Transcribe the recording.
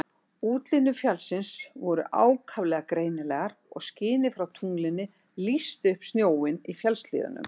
Útlínur fjallsins voru ákaflega greinilegar og skinið frá tunglinu lýsti upp snjóinn í fjallshlíðunum.